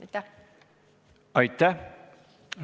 Aitäh!